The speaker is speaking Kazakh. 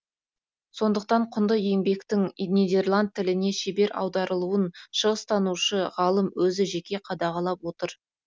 сондықтан құнды еңбектің нидерланд тіліне шебер аударылуын шығыстанушы ғалым өзі жеке қадағалап отыр